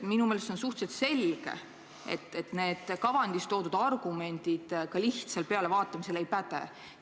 Minu meelest on suhteliselt selge, et need kavandis toodud argumendid lihtsal pealevaatamisel ei päde.